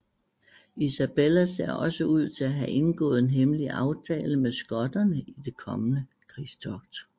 Isabella ser også ud til at have indgået en hemmelig aftale med skotterne i det kommende krigstogt